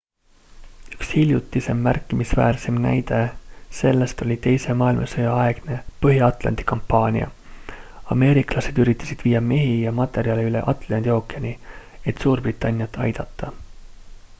üks hiljutisem märkimisväärseim näide sellest oli teise maailmasõja aegne põhja-atlandi kampaania ameeriklased üritasid viia mehi ja materjale üle atlandi ookeani et suurbritanniat aidata